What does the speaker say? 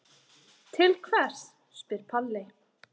Til hvers spyr Palli.